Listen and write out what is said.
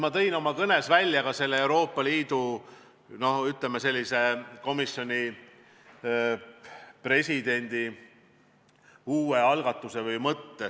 Ma tõin oma kõnes välja ka Euroopa Komisjoni presidendi algatuse või mõtte.